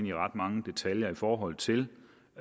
i ret mange detaljer i forhold til